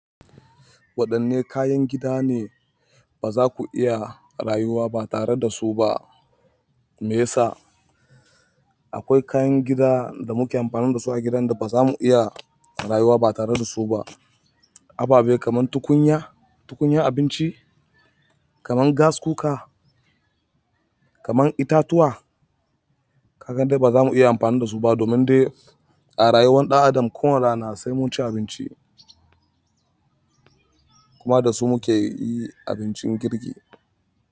Waɗanne kayan gida ne ba za ku iya rayuwa ba tare da su ba? Me ya sa? Akwai kayan gida da muke amfani da su a gidan da ba za mu iya rayuwa ba tare da su ba. Aba be kamar tukunya, tukunyan abinci, kamar gas cooker, kamar itatuwa. Ka ga dai ba za mu iya amfani da su ba domin dai a rayuwan ɗan'adam ko wani rana sai mun ci abinci, kuma da su muke yi abincin girki.